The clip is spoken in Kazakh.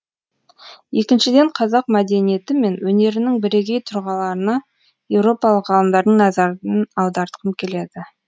екіншіден қазақ мәдениеті мен өнерінің бірегей тұлғаларына еуропалық ғалымдардың назарын аудартқым келеді